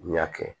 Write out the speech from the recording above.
N y'a kɛ